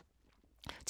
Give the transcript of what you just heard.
TV 2